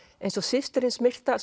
eins og systir hins myrta